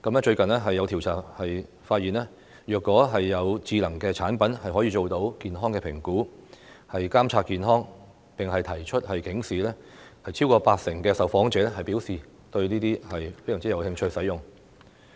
最近，有調查發現，如果有智能產品可以做到健康評估、監察健康，並提出警示，超過八成受訪者表示非常有興趣使用這些產品。